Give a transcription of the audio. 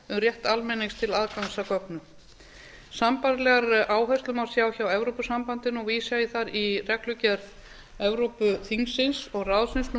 rétt almennings til aðgangs að gögnum sambærilegar áherslur má sjá hjá evrópusambandinu og vísa ég þar í reglugerð evrópuþingsins og evrópuráðsins númer